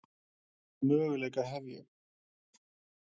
Hvaða möguleika hef ég?